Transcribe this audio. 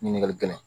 Ɲininkali kɛla